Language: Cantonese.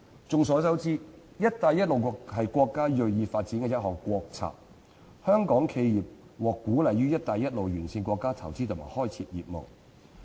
眾所周知，"一帶一路"是國家銳意發展的一項國策，香港企業獲鼓勵於"一帶一路"沿線國家投資及開設業務。